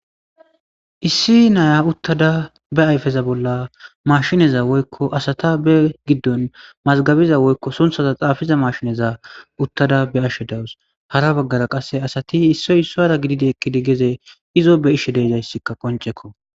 issi naya uttada be ayfeza bolla mashineza woykko asata be giddon mazgabiza woykko sunthaza xaafiza mashineza uttada be ashshe dawus hara baggara qasse asati issoy issoyra gididekkidi geze izo be ishe deejayssikka qoncekko